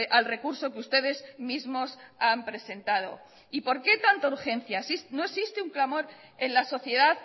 al recurso que ustedes mismos han presentado y por qué tanta urgencia no existe un clamor en la sociedad